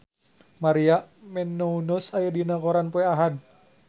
Maria Menounos aya dina koran poe Ahad